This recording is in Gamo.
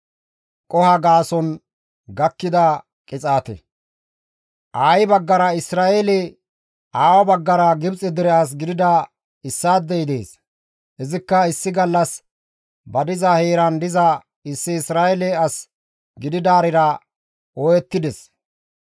Aayi baggara Isra7eele, aawa baggara Gibxe dere as gidida issaadey dees; izikka issi gallas ba diza heeran diza issi Isra7eele as gididaarira ooyettides.